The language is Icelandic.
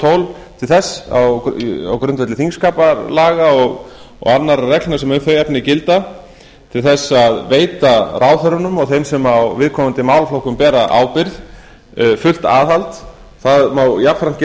tól til þess á grundvelli þingskapalaga og annarra reglna sem um þau efni gilda til þess að veita ráðherrunum og þeim sem á viðkomandi málaflokkum bera ábyrgð fullt aðhald það má jafnframt